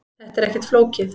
Þetta er ekkert flókið